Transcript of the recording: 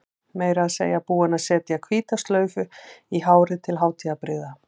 Meira að segja búin að setja hvíta slaufu í hárið til hátíðarbrigða.